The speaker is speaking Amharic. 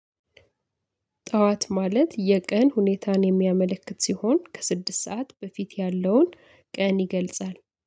ጠዋት ማለት የቀን ሁኔታን የሚያመለክት ሲሆን ከስድስት ሰዓት በፊት ያለውን ቀን ይገልጻል